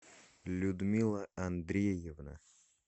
людмила андреевна